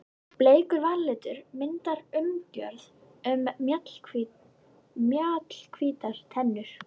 Bleikur varalitur myndar umgjörð um mjallhvítar tennur.